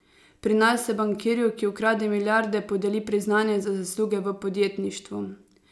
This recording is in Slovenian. Pri nas se bankirju, ki ukrade milijarde, podeli priznanje za zasluge v podjetništvu.